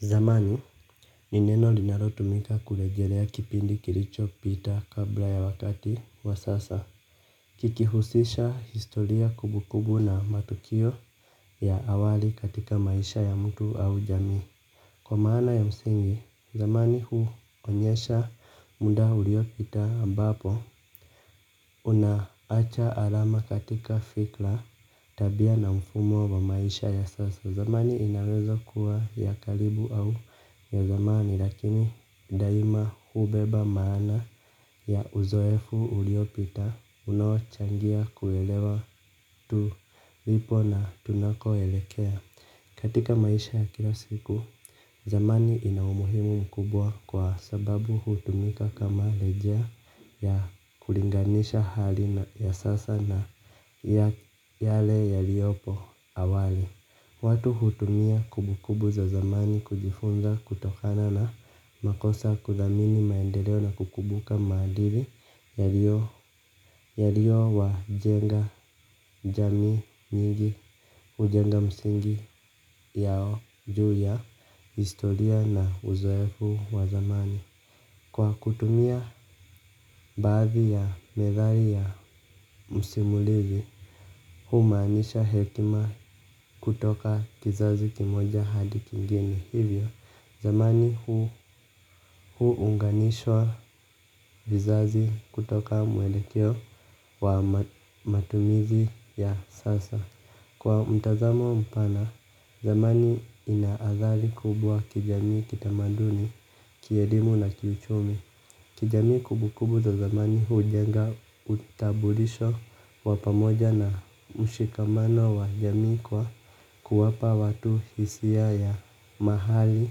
Zamani, ni neno linalotumika kuongelea kipindi kilichopita kabla ya wakati wa sasa. Kikihusisha historia kumbu kumbu na matukio ya awali katika maisha ya mtu au jamii. Kwa maana ya msingi, zamani huonyesha muda uliopita ambapo unaacha alama katika fikra, tabia na mfumo wa maisha ya sasa. Zamani inaweza kuwa ya karibu au ya zamani lakini daima hubeba maana ya uzoefu uliopita, unochangia kuelewa tulipo na tunapoelekea. Katika maisha ya kila siku, zamani ina umuhimu mkubwa kwa sababu hutumika kama rejea ya kulinganisha hali ya sasa na yale yaliopo awali. Watu hutumia kumbukumbu za zamani kujifunza kutokana na makosa, kudhamini maendeleo na kukumbuka maadili yalio wa jenga jamii nyingi. Hujenga msingi yao juu ya historia na uzoefu wa zamani. Kwa kutumia baadhi ya methali ya msimulizi, humaanisha hekima kutoka kizazi kimoja hadi kingine hivyo, zamani huu hunganishwa vizazi kutoka mwelekeo wa matumizi ya sasa. Kwa mtazamo mpana, zamani inaadhari kubwa kijamii, kitamaduni, kielimu na kiuchumi. Kijamii kumbukumbu za zamani hujenga utabulisho wa pamoja na mshikamano wa jamii kwa kuwapa watu hisia ya mahali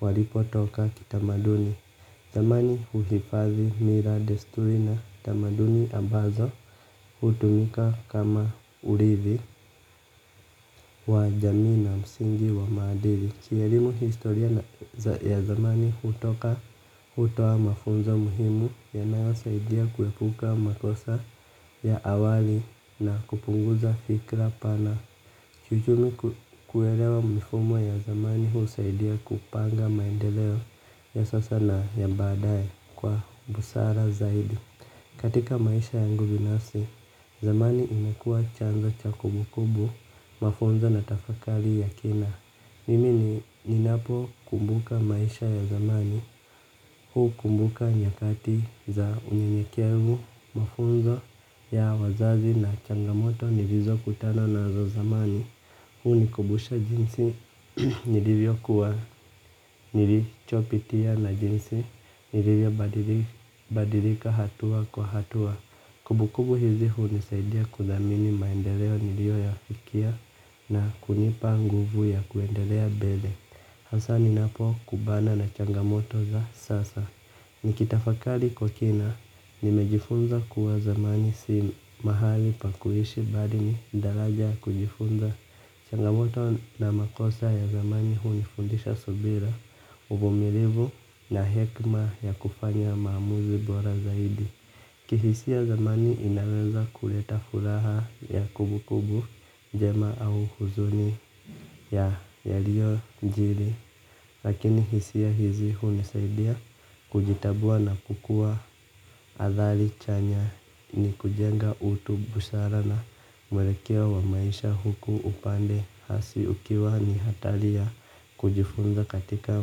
walipotoka kitamaduni. Zamani huhifadhi mila, desturi na tamaduni ambazo hutumika kama urdhi wa jamii na msingi wa maadili, kielimu, kihistoria na ya zamani hutoa mafunzo muhimu yanayosaidia kuepuka makosa ya awali na kupunguza fikra pana. Kiuchumi kuelewa mifumo ya zamani husaidia kupanga maendeleo ya sasa naya badaye kwa busara zaidi. Katika maisha yangu binafsi, zamani imekua chanzo cha kumbukumbu, mafunzo na tafakari ya kina. Mimini ninapokumbuka maisha ya zamani, hukumbuka nyakati za unyekevu, mafunzo ya wazazi na changamoto nilizo kutana nazo zamani. Hunikumbusha jinsi nilivyo kuwa, nilichopitia, na jinsi nilivyobadilika hatua kwa hatua. Kumbukumbu hizi hunisaidia kudhamini maendeleo niliyoyafikia na kunipa nguvu ya kuendelea mbele. Hasa ninapo kumbana na changamoto za sasa. Nikitafakali kwa kina, nimejifunza kuwa zamani si mahali pa kuishi mbali ni daraja kujifunza. Changamoto na makosa ya zamani hunifundisha subira uvumilivu na hekma. Ya kufanya maamuzi bora zaidi. Kihisia zamani inaweza kuleta furaha ya kumbu kumbu njema au huzuni ya yaliyojiri. Lakini hisia hizi hunisaidia kujitambua na kukua. Athari chanya. Ni kujenga utu, busara na mwelekeo wa maisha huku upande hasi ukiwa ni hatari ya kujifunza katika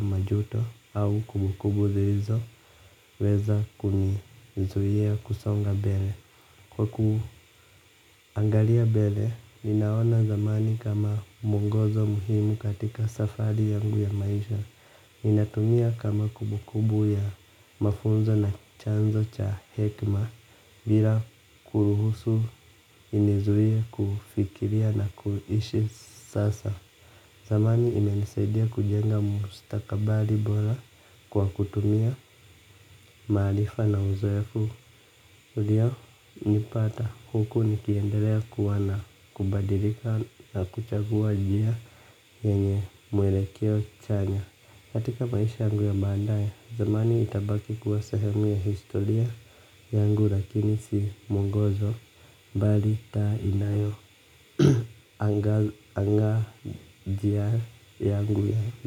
majuto au kumbukumbu zilizoweza kunizuia kusonga mbele. Kwa kuangalia mbele, ninaona zamani kama mungozo muhimu katika safari yangu ya maisha. Inatumia kama kumbukumbu ya mafunzo na chanzo cha hekma bila kuruhusu inizuie kufikiria na kuishi sasa. Zamani imenisaidia kujenga mustakabali bora kwa kutumia maarifa na uzoefu ulionipata, huku nikiendelea kuwa na kubadilika na kuchagua njia yenye mwelekeo chanya katika maisha yangu ya baadaye, zamani itabaki kuwa sahemu ya historia yangu lakini si mungozo, mbali taa inayo anga njia yangu ya.